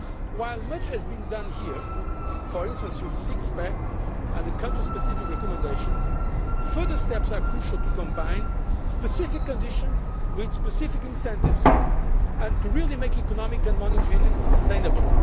While much has been done here, for instance through the Six pack and the country specific recommendations, further steps are crucial to combine specific conditions with specific incentives and to really make economic and monetary union sustainable.